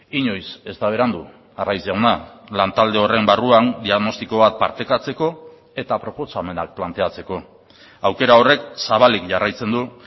inoiz ez da berandu arraiz jauna lantalde horren barruan diagnostiko bat partekatzeko eta proposamenak planteatzeko aukera horrek zabalik jarraitzen du